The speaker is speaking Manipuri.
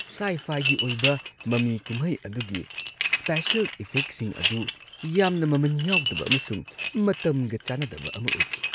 ꯁꯥꯏ-ꯐꯥꯏꯒꯤ ꯑꯣꯏꯕ ꯃꯃꯤ-ꯀꯨꯝꯍꯩ ꯑꯗꯨꯒꯤ ꯁ꯭ꯄꯦꯁꯦꯜ ꯏꯐꯦꯛꯁꯤꯡ ꯑꯗꯨ ꯌꯥꯝꯅ ꯃꯃꯟ ꯌꯥꯎꯗꯕ ꯑꯃꯁꯨꯡ ꯃꯇꯝꯒ ꯆꯥꯅꯗꯕ ꯑꯃ ꯑꯣꯏꯈꯤ ꯫